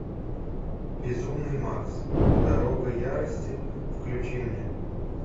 безумный макс дорога ярости включи мне